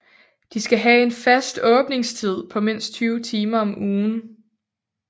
De skal have en fast åbningstid på mindst 20 timer om ugen